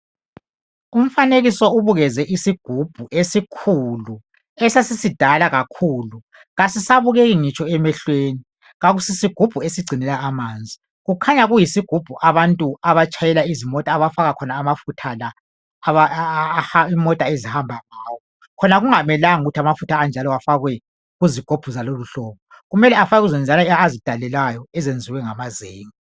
Umfanekiso ubukeze isigubhu esikhulu, esesisidala kakhulu. Kasisabukeki ngitsho emehlweni, kasi sigubhu esigcinela amanzi. Kukhanya kuyisigubhu abantu abatshayela izimota abafaka amafutha la imota ezihamba ngawo. Kumele afakwe kuzoneziyana azidalelwayo ezenziwe ngamazenge.